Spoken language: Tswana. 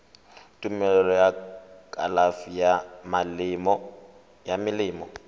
tumelelo ya kalafi ya melemo